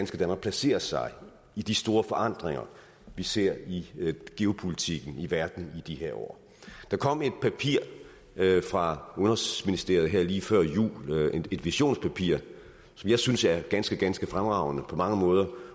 skal placere sig i de store forandringer vi ser i geopolitikken i verden i de her år der kom et papir fra udenrigsministeriet her lige før jul et visionspapir som jeg synes er ganske ganske fremragende på mange måder